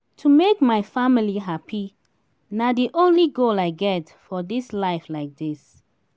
to make my family happy na the only goal i get for dis life like dis